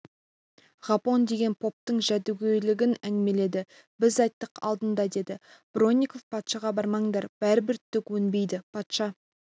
ғапон деген поптың жәдігөйлігін әңгімеледі біз айттық алдында деді бронников патшаға бармаңдар бәрібір түк өнбейді патша